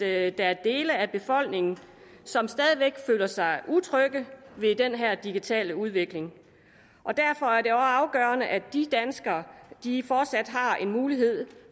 at der er dele af befolkningen som stadig væk føler sig utrygge ved den her digitale udvikling derfor er afgørende at de danskere fortsat har en mulighed